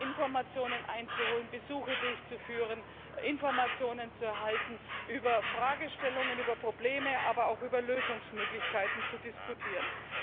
Informationen einzuholen, Besuche durchzuführen, Informationen zu erhalten, über Fragestellungen, über Probleme, aber auch über Lösungsmöglichkeiten zu diskutieren.